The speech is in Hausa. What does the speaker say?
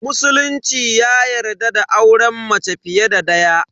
Musulunci ya yarda da auren mace fiye da daya.